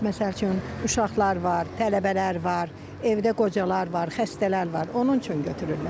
Məsəl üçün, uşaqlar var, tələbələr var, evdə qocalar var, xəstələr var, onun üçün götürürlər.